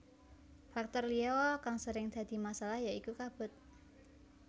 Faktor liya kang sering dadi masalah ya iku kabut